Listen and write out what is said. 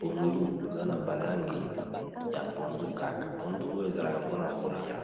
pondu eza na ba langi ya pondu kaka pondu oyo ezalaka mpona kolia.